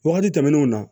Wagati tɛmɛnenw na